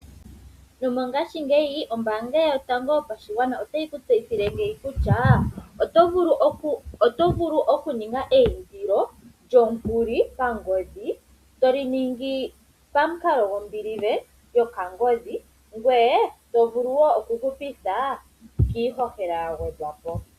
Mongaashingeyi ombaanga yotango yopashigwana otayi ku tseyithile kutya . Oto vulu oku ninga eyindilo lyomukuli pa ngodhi. Toli ningi pamukalo gombilive yopangodhi ngoye to vulu woo oku hupitha iihohela ya gwedhwa po.